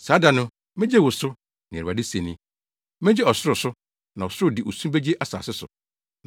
“Saa da no, megye wo so,” nea Awurade se ni. “Megye ɔsoro so, na ɔsoro de osu begye asase so,